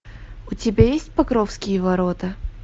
у тебя есть покровские ворота